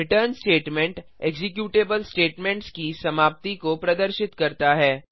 return statement executable statements की समाप्ति को प्रदर्शित करता है